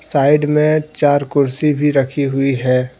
Side मे चार कुर्सी भी रखी हुई है।